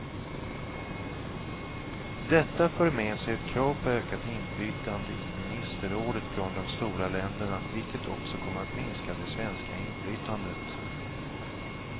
Detta för med sig ett krav på ökat inflytande i ministerrådet från de stora länderna, vilket också kommer att minska det svenska inflytandet.